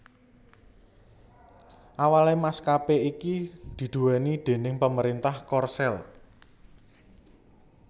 Awalé maskapé iki diduwéni déning pemerintah Korsel